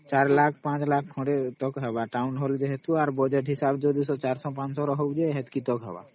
Four Lakh Five Lakh ହେବ Townhall ଯେହେତୁ ୟାର Budget ହିସାବରେ 400 500 ଲୋକ ହେଲେ ସେତିକି ହବ